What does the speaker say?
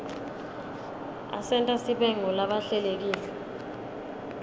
asenta sibe ngulabahlelekile